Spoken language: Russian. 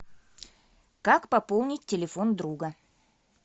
как пополнить телефон друга